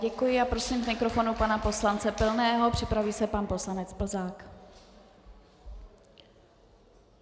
Děkuji a prosím k mikrofonu pana poslance Pilného, připraví se pan poslanec Plzák.